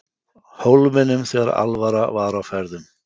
Hólminum þegar alvara var á ferðum.